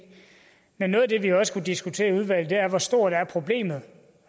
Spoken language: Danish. men noget af det vi også kunne diskutere i udvalget er hvor stort problemet